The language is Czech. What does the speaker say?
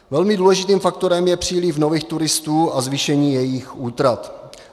Velmi důležitým faktorem je příliv nových turistů a zvýšení jejich útrat.